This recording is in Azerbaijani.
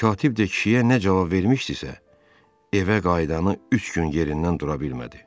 Katib də kişiyə nə cavab vermişdisə, evə qayıdanı üç gün yerindən dura bilmədi.